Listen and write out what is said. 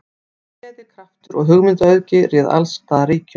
Gleði, kraftur og hugmyndaauðgi réð alls staðar ríkjum.